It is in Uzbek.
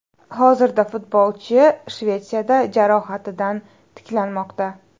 Hozirda futbolchi Shvetsiyada jarohatidan tiklanmoqda.